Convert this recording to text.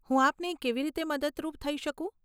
હું આપને કેવી રીતે મદદરૂપ થઇ શકું?